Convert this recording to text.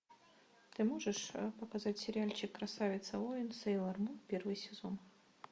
ты можешь показать сериальчик красавица воин сейлор мун первый сезон